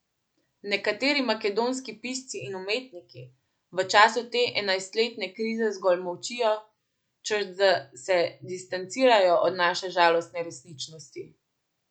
Nekateri makedonski pisci in umetniki v času te enajstletne krize zgolj molčijo, češ da se distancirajo od naše žalostne resničnosti.